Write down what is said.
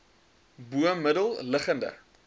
bo middel liggende